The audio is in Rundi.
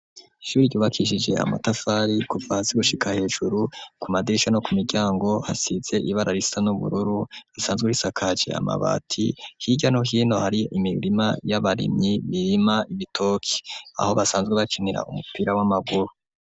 Ishuri ryubakishije amatafari kuva hasi gushika hejuru ku madirisha no ku miryango hasize ibara risa n'ubururu risanzwe risakaje amabati hirya no hino hari imirima y'abarimyi imirima ibitoki aho basanzwe bakinira umupira w'amaguru.